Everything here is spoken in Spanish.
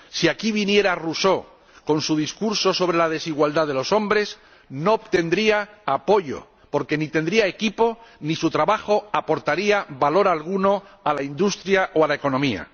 Si aquí viniera Rousseau con su Discurso sobre el origen y los fundamentos de la desigualdad entre los hombres no obtendría apoyo porque ni tendría equipo ni su trabajo aportaría valor alguno a la industria o a la economía.